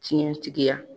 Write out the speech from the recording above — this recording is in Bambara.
Tiɲɛtigiya